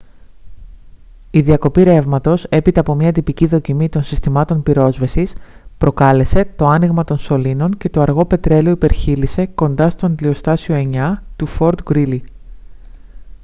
η διακοπή ρεύματος έπειτα από μια τυπική δοκιμή των συστημάτων πυρόσβεσης προκάλεσε το άνοιγμα των σωλήνων και το αργό πετρέλαιο υπερχείλισε κοντά στο αντλιοστάσιο 9 του fort greely